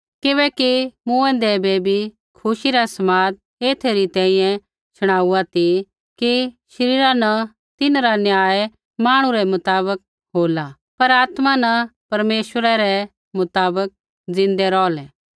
किबैकि मूँऐंदै बै भी खुशी रा समाद एथै री तैंईंयैं शुणाउआ ती कि शरीरा न तिन्हरा न्याय मांहणु रै मुताबक होला पर आत्मा न परमेश्वरै रै मुताबक ज़िन्दै रौहलै